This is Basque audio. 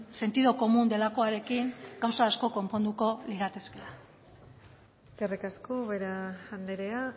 sentido común delakoarekin gauza asko konponduko liratekeela eskerrik asko ubera andrea